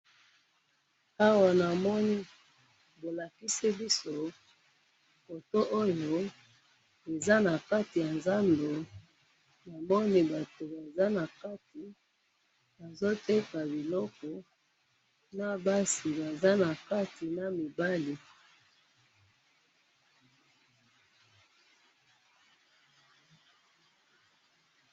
Awa namoni bolakisi biso, photo Oyo eza na kati ya nzando, namoni bato baza na kati, bazo Teka biloko. Na basi baza na kati na mibali.